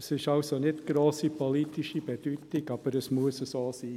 Dies ist nicht von grosser politischer Bedeutung, aber es muss so sein.